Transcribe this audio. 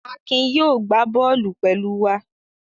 Akin yóò gbá bọ́ọ́lù pẹ̀lú wa.